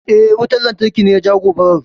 Eh, wutan lantarki ne ya jawo gobarar.